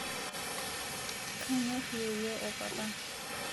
kanyor yeiyo opapa